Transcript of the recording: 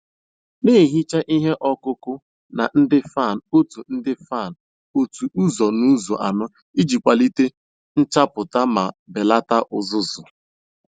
Na-ehicha ihe ọkụ ọkụ na ndị fan otu ndị fan otu um ụzọ n'ụzọ anọ iji kwalite nchapụta ma belata uzuzu.